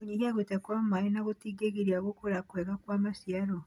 Kũnyihia gũte kwa maĩ na gũtigĩrĩra gũkũra kwega kwa maciaro.